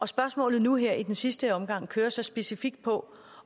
spørgsmålet nu her i den sidste omgang kører så specifikt på